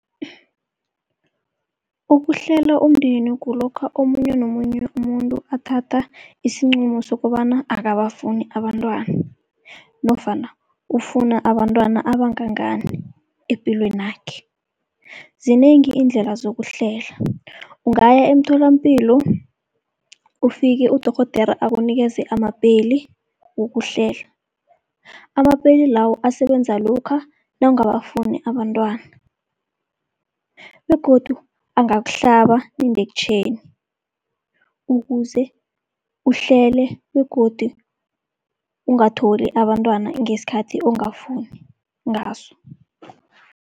Ukuhlela umndeni kulokha omunye nomunye umuntu athatha isinqumo sokobana akabafuni abantwana, nofana ufuna abantwana abangangani epilwenakhe. Zinengi iindlela zokuhlela ungaya emtholapilo ufike udorhodera akunikeze amapeli wokuhlela. Amapeli lawo asebenza lokha nawungabafuni abantwana, begodu angakuhlaba indekhtjheni ukuze uhlele begodu ungatholi abantwana ngesikhathi ongafuni ngaso.